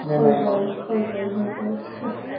হৈ গল হৈ গল হৈ গল